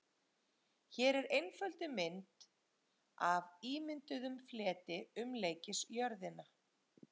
Hér er einfölduð mynd af ímynduðum fleti umleikis jörðina.